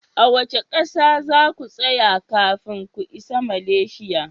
A wace kasa za ku tsaya kafin ku isa Malaysia?